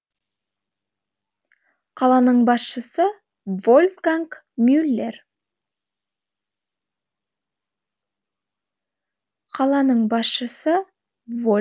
қаланың басшысы вольфганг мюллер